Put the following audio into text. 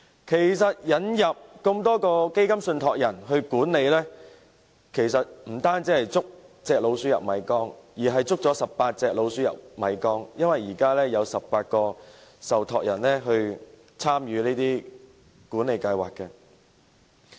其實，當局引入這麼多個基金信託人來管理，不單是"捉隻老鼠入米缸"，而是捉了18隻老鼠入米缸，因為現時有18個受託人參與管理計劃。